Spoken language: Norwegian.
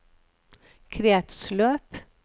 kretsløp